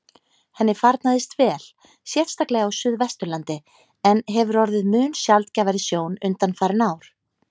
Henni farnaðist vel, sérstaklega á suðvesturlandi, en hefur orðið mun sjaldgæfari sjón undanfarin ár.